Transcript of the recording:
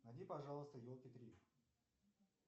найди пожалуйста елки три